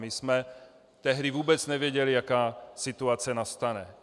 My jsme tehdy vůbec nevěděli, jaká situace nastane.